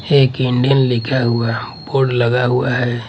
एक इंडियन लिखा हुआ बोर्ड लगा हुआ है।